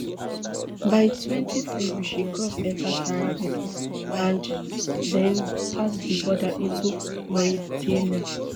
by twenty february she cross enta sahara desert and den pass di border into mauritania